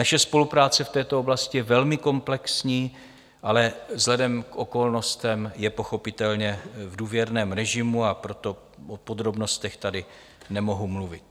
Naše spolupráce v této oblasti je velmi komplexní, ale vzhledem k okolnostem je pochopitelně v důvěrném režimu, a proto o podrobnostech tady nemohu mluvit.